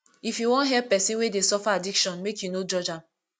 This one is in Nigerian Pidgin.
if you wan help pesin wey dey suffer addiction make you no judge am